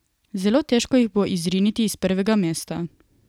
Zelo težko jih bo izriniti iz prvega mesta.